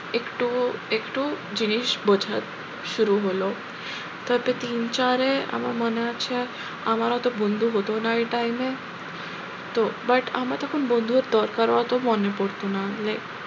একটু একটু জিনিস বোঝা শুরু হলো তাতে তিন চারে আমার মনে আছে আমার অতো বন্ধু হতো না এই time এ তো but আমরা তখন বন্ধুর দরকারও অত মনে পড়তো না,